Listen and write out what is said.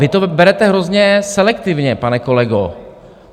Vy to berete hrozně selektivně, pane kolego.